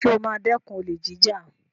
Sọ ma dẹ́kun olè jíjà?